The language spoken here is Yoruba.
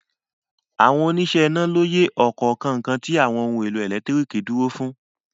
Àwọn oníṣẹ́ iná lóye ọ̀kọ̀ọ̀kan nǹkan tí àwọn ohun-èlò ẹ̀lẹ́tíríkì dúró fún.